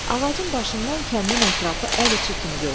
Ağacın başından kəndin ətrafı əl içi kimi görünürdü.